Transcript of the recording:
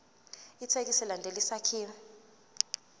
ithekisthi ilandele isakhiwo